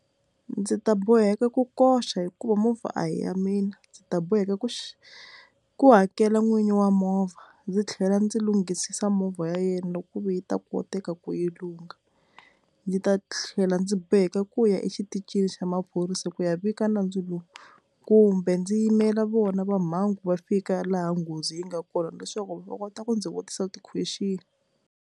Ndzi ta boheka ku koxa hikuva movha a hi ya mina ndzi ta boheka ku ku hakela n'winyi wa movha ndzi tlhela ndzi lunghisisa movha ya yena loko ku ve yi ta koteka ku yi lunga, ndzi ta tlhela ndzi boheka ku ya exitichini xa maphorisa ku ya vika nandzulo kumbe ndzi yimela vona va mhangu va fika laha nghozi yi nga kona leswaku va kota ku ndzi vutisa ti-question.